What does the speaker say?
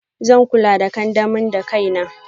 Zan kula the kandamin dakaina.